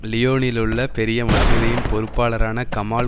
லியோனிலுள்ள பெரிய மசூதியின் பொறுப்பாளரான கமால்